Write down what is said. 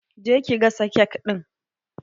Je ki gasa kek ɗin!